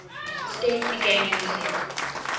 states began using